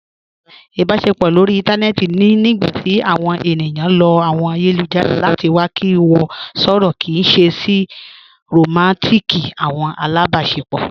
Ìbàṣepọ̀ lórí ìntanẹ̀ẹ̀tì ni nígbàtí àwọn ènìyàn lọ̀ àwọn ayélujára láti wà kí wọ̀ sọ̀rọ̀ sí ṣèè ṣé rọmántík àwọn alábàṣepọ̀.